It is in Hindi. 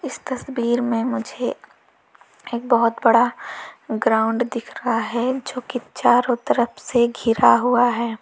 इस तस्वीर में मुझे एक बहोत बड़ा ग्राउंड दिख रहा है जो कि चारों तरफ से घिरा हुआ है।